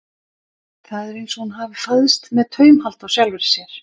Það er eins og hún hafi fæðst með taumhald á sjálfri sér.